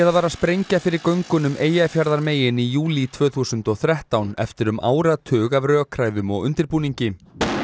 var að sprengja fyrir göngunum Eyjafjarðarmegin í júlí tvö þúsund og þrettán eftir um áratug af rökræðum og undirbúningi